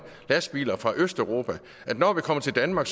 lastbiler fra østeuropa at når man kommer til danmark